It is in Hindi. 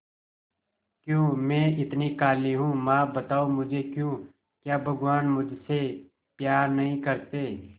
क्यों मैं इतनी काली हूं मां बताओ मुझे क्यों क्या भगवान मुझसे प्यार नहीं करते